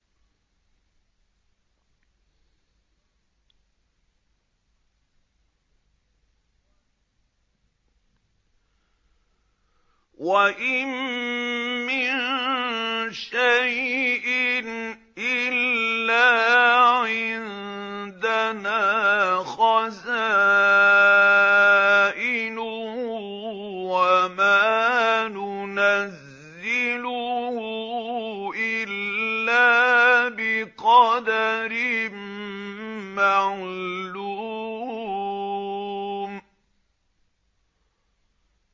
وَإِن مِّن شَيْءٍ إِلَّا عِندَنَا خَزَائِنُهُ وَمَا نُنَزِّلُهُ إِلَّا بِقَدَرٍ مَّعْلُومٍ